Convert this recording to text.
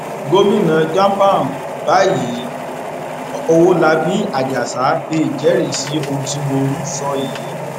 gomina jam pan báyìí ọwọlabí àjàsà lè jẹrìí sí ohun tí mò ń sọ yìí